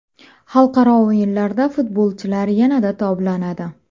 Xalqaro o‘yinlarda futbolchilar yanada toblanadi.